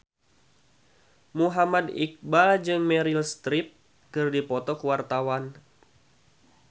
Muhammad Iqbal jeung Meryl Streep keur dipoto ku wartawan